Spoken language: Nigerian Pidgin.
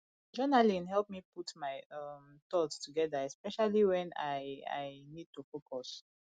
journaling help me put my um thoughts together especially when i i need to focus